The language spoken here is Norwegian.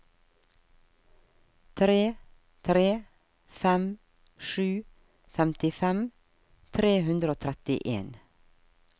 tre tre fem sju femtifem tre hundre og trettien